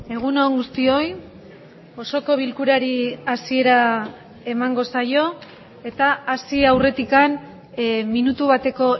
egun on guztioi osoko bilkurari hasiera emango saio eta hasi aurretik minutu bateko